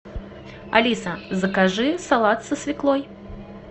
алиса закажи салат со свеклой